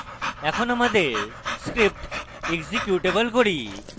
এখন আমাদের script executable করি